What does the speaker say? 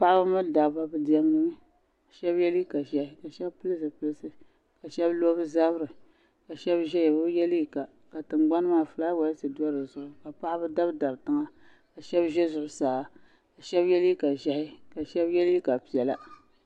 Paɣaba mini dabba bi diɛmdi mi ka shɛbi ye liiga ʒehi ka shɛbi pili zipilisi ka shɛbi lo bɛ zabiri ka shɛbi ʒeya be bi ye liiga ka tingbani maa fulaawasi do di zuɣu ka paɣaba dabidabi tiŋa ka shɛbi ʒe zuɣu saa ka shɛbi ye liiga ʒehi ka shɛbi ye liiga piɛla.